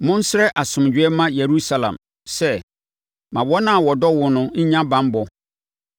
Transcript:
Monsrɛ asomdwoeɛ mma Yerusalem sɛ, “Ma wɔn a wɔdɔ wo no nnya banbɔ.